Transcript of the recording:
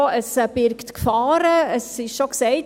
Dies birgt Gefahren, es wurde bereits gesagt: